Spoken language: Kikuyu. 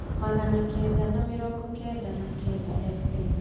magana kenda na mĩrongo kenda na kenda f.m.